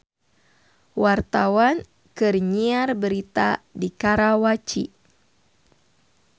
Wartawan keur nyiar berita di Karawaci